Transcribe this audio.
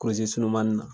sununmani na